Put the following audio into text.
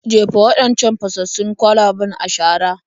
Jefa waɗancan fasassun kwalaben a shara.